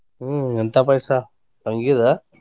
ಹ್ಮ ಎಂತಾ ಪಾಯ್ಸಾ? ಶಾವಿಗೆದ?